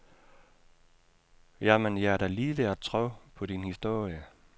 Ja, men jeg er da lige ved at tro på din historie.